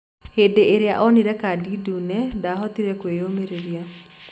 Hĩndĩrĩa onĩre kadi ndune ndahotire kũiyũmĩrĩria.